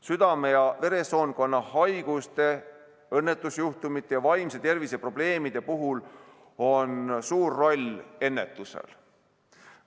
Südame‑ ja veresoonkonnahaiguste, õnnetusjuhtumite ja vaimse tervise probleemide puhul on suur roll ennetusel.